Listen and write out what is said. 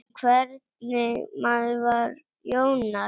En hvernig maður var Jónas?